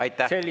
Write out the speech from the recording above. Aitäh!